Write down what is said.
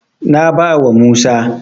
Na bawa Musa.